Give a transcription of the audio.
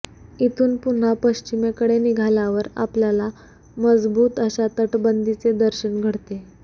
इथून पुन्हा पश्चिमेकडे निघाल्यावर आपल्याला मजबूत अशा तटबंदीचे दर्शन घडते